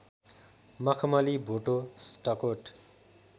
मखमली भोटो स्टकोट